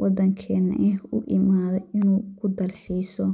wadankena uu u imaade inuu ku dalxiiso